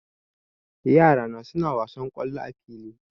Yara na suna wasan kollo a fili